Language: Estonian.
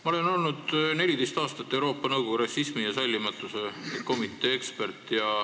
Ma olen olnud 14 aastat Euroopa Nõukogu rassismi ja sallimatuse vastase komitee ekspert.